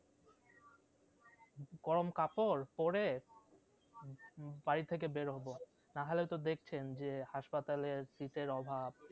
গরম কাপড় পরে বাড়ি থেকে বেড় হবো না হলে তো দেখছেন যে হাসপাতালে শীতের অভাব